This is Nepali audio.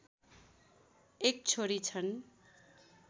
एक छोरी छन्।